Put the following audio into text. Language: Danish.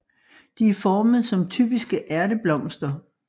De er formet som typiske ærteblomster